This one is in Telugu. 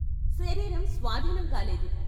శరీరం స్వాధీనం కాలేదు.